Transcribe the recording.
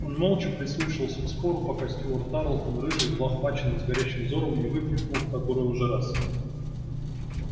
он молча прислушивался к спору пока стюарт тарлтон рыжий взлохмаченный с горящим взором не выкрикнул в который уже раз